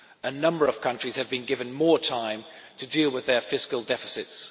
A number of countries have been given more time to deal with their fiscal deficits.